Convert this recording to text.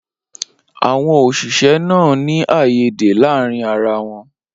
Awọn oṣiṣẹ naa n ni aiyede laarin ara wọn.